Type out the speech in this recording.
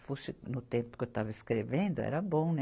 Se fosse no tempo que eu estava escrevendo, era bom, né?